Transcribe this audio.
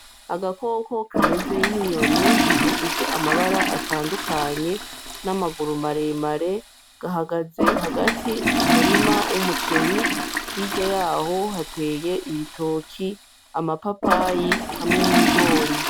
Agakoko kameze nk'inyoni gafise amabara atandukanye n'amaguru maremare gahagaze hagati mu murima w'umuceri hirya yaho hateye ibitoki amapapayi hamwe n'ibigori.